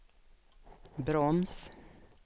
broms